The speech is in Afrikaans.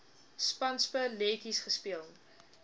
spanspe letjies gespeel